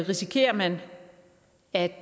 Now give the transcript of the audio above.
risikerer man at